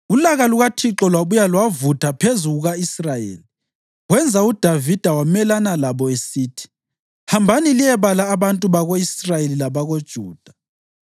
Ulaka lukaThixo lwabuya lwavutha phezu kuka-Israyeli, wenza uDavida wamelana labo, esithi, “Hambani liyebala abantu bako-Israyeli labakoJuda.”